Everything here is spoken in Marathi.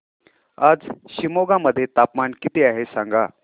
आज शिमोगा मध्ये तापमान किती आहे सांगा